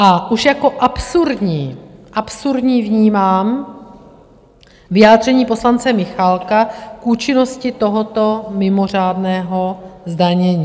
A už jako absurdní, absurdní vnímám vyjádření poslance Michálka k účinnosti tohoto mimořádného zdanění.